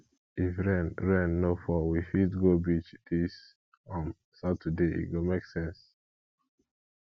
if rain rain no fall we fit go beach dis um saturday e go make sense